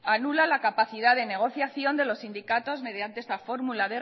anula la capacidad de negociación de los sindicatos mediante esta fórmula